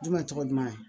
Jumɛn tɔgɔ duman